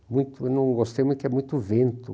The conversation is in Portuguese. Eu não gostei muito, porque é muito vento.